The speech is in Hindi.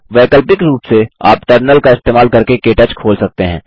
वैकल्पिक रूप से आप टर्मिनल का इस्तेमाल करके के टच खोल सकते हैं